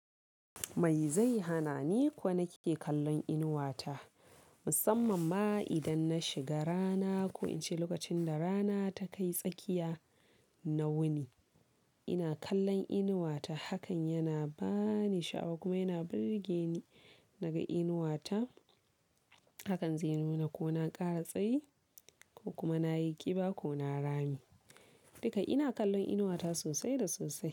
Mai zai hana ni ko na ke kallon inuwa ta? Musamman ma idan na shiga rana ko in ce lokacin da rana ta kai tsakiya, na wuni ina kallon inuwa ta hakan yana ba ni sha'awa kuma yana birge ni naga inuwa ta. Hakan zai nuna ko na kara tsayi ko kuma na yi ƙiba ko na rami. Duka ina kallon inuwa ta sosai da sosai.